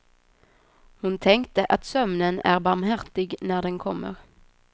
Hon tänkte att sömnen är barmhärtig när den kommer.